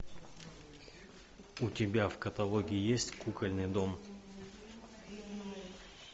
у тебя в каталоге есть кукольный дом